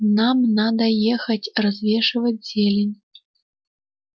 нам надо ехать развешивать зелень